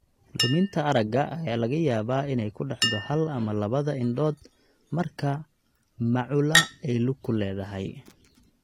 Luminta aragga ayaa laga yaabaa inay ku dhacdo hal ama labada indhood marka macula ay lug ku leedahay.